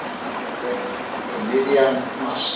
Ég kem um miðjan mars.